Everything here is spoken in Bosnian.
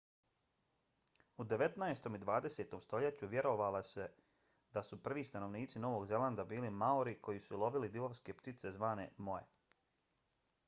u devetnaestom i dvadesetom stoljeću vjerovalo se da su prvi stanovnici novog zelanda bili maori koji su lovili divovske ptice zvane moe